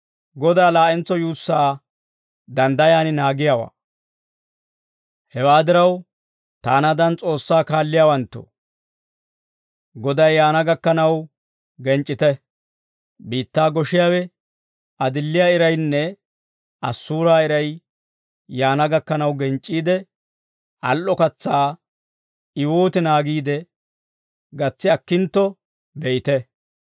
Hewaa diraw, taanaadan S'oossaa kaalliyaawanttoo, Goday yaana gakkanaw genc'c'ite; biittaa goshiyaawe adilliyaa iraynne assuuraa iray yaana gakkanaw genc'c'iide, al"o katsaa I wooti naagiide gatsi akkintto be'ite.